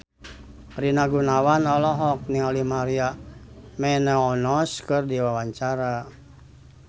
Rina Gunawan olohok ningali Maria Menounos keur diwawancara